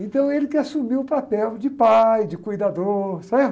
Então ele que assumiu o papel de pai, de cuidador, certo?